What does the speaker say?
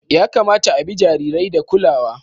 Ya kamata a bi jarirai da kulawa.